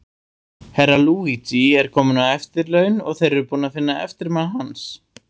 Herra Luigi er kominn á eftirlaun, og þeir eru búnir að finna eftirmann hans.